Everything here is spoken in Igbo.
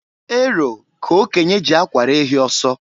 Ero ka okenye ji akwara ehi ọsọ.